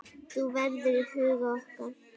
Þú verður í huga okkar.